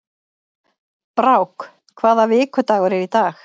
Brák, hvaða vikudagur er í dag?